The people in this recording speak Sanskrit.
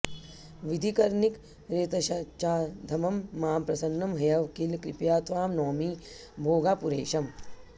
विधिकरनिकरेतश्चाधमं मां प्रसन्नं ह्यव किल कृपया त्वां नौमि भोगापुरेशम्